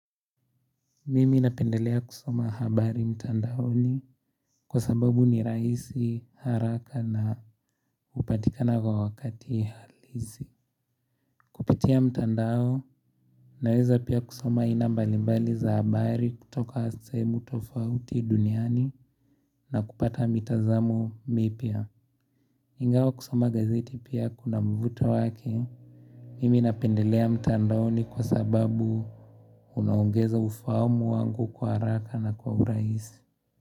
Mimi napendelea kusoma habari mtandaoni, kwa sababu ni rahisi haraka na hupatikana kwa wakati halisi. Kupitia mtandao naweza pia kusoma aina mbalimbali za habari kutoka sehemu tofauti duniani na kupata mitazamo mipya. Ingawa kusoma gazeti pia kuna mvuto wake. Mimi napendelea mtandaoni kwa sababu unaongeza ufaumu wangu kwa haraka na kwa urahisi.